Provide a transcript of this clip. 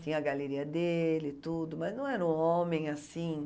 Tinha a galeria dele e tudo, mas não era um homem assim.